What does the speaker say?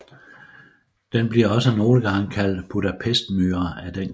Den bliver også nogle gange kaldt Budapestmyre af den grund